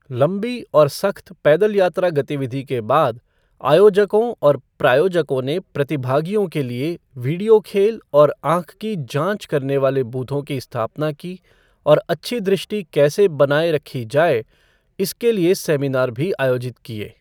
लंबी और सख्त पैदल यात्रा गतिविधि के बाद, आयोजकों और प्रायोजकों ने प्रतिभागियों के लिए वीडियो खेल और आंख की जांच करने वाले बूथों की स्थापना की और अच्छी दृष्टि कैसे बनाए रखी जाए, इसके लिए सेमिनार भी आयोजित किए।